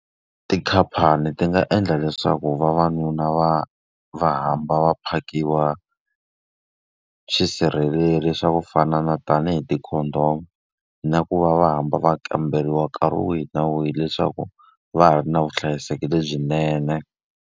Tikhamphani ti nga endla leswaku vavanuna va va hamba va phakiwa swisirheleli swa ku fana na tanihi ti-condom. Na ku va va hamba va kamberiwa nkarhi wihi na wihi leswaku va ha ri na vuhlayiseki lebyinene.